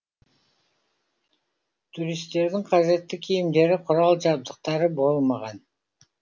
туристердің қажетті киімдері құрал жабдықтары болмаған